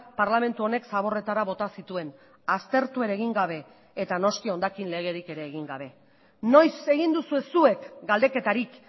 parlamentu honek zaborretara bota zituen aztertu ere egin gabe eta noski hondakin legerik ere egin gabe noiz egin duzue zuek galdeketarik